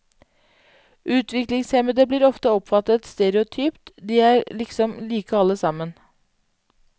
Utviklingshemmede blir ofte oppfattet stereotypt, de er liksom like alle sammen.